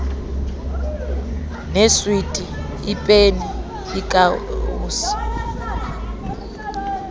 neeswiti iipeni iikawusi